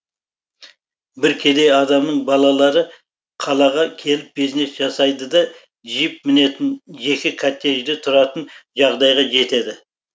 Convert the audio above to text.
бір кедей адамның балалары қалаға келіп бизнес жасайды да джип мінетін жеке коттеджде тұратын жағдайға жетеді